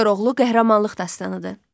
Koroğlu qəhrəmanlıq dastanidir.